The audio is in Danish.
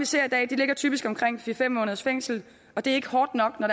ser i dag ligger typisk på omkring fire fem måneders fængsel og det er ikke hårdt nok når